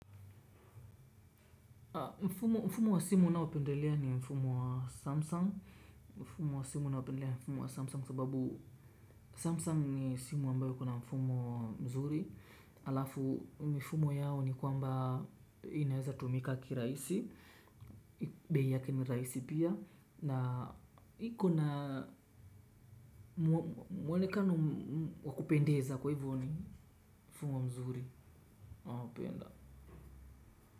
Mfumo wa simu ninaopendelea ni mfumo wa samsung. Mfumo wa simu ninaopendelea ni mfumo wa samsung. Sababu samsung ni simu ambayo ikona mfumo mzuri. Alafu mifumo yao ni kwamba inaweza tumika kirahisi. Bei yake ni rahisi pia na iko na mwonekano wa kupendeza kwa hivyo ni mfumo mzuri ninaopenda.